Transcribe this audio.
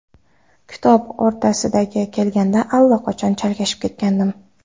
Kitob o‘rtasiga kelganda allaqachon chalkashib ketgandim.